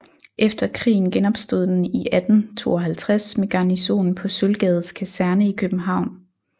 Efter krigen genopstod den i 1852 med garnison på Sølvgades Kaserne i København